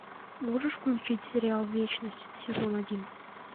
можешь включить сериал вечность сезон один